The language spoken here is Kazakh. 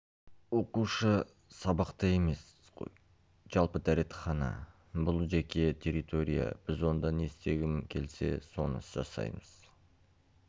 оқушы сабақта емес қой жалпы дәретхана бұл жеке территория біз онда не істегім келсе соны жасаймыз